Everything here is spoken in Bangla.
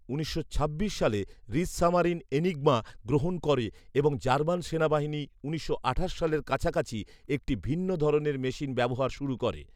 উনিশশো ছাব্বিশ সালে রিচসামারিন এনিগমা গ্রহণ করে এবং জার্মান সেনাবাহিনী উনিশশো আঠাশ সালের কাছাকাছি একটি ভিন্ন ধরনের মেশিন ব্যবহার শুরু করে